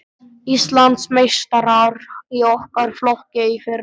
Íslandsmeistarar í okkar flokki í fyrra.